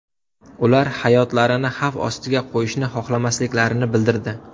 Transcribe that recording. Ular hayotlarini xavf ostiga qo‘yishni xohlamasliklarini bildirdi.